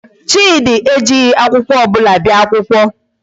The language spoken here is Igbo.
Chidi ejighị akwụkwọ ọbụla bịa akwụkwọ.